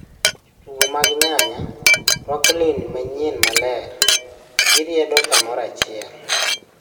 Jo tugo mag nyanya ruako lweni manyien maler ,gi riedo kamoro achiel